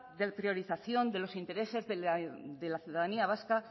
de priorización de los intereses de la ciudadanía vasca